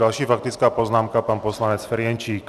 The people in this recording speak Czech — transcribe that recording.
Další faktická poznámka, pan poslanec Ferjenčík.